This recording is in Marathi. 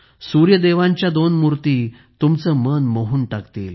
सूर्य देवांच्या दोन मूर्ती तुमचे मन मोहून टाकतील